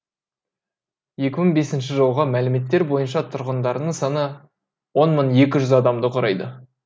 екі мың бесінші жылғы мәліметтер бойынша тұрғындарының саны он мың екі жүз адамды құрайды